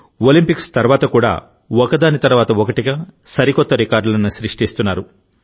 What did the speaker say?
Olympics తర్వాత కూడా ఒకదాని తర్వాత ఒకటిగా సరికొత్త రికార్డులను సృష్టిస్తున్నారు